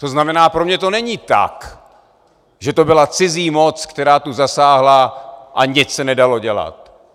To znamená, pro mě to není tak, že to byla cizí moc, která tu zasáhla, a nic se nedalo dělat.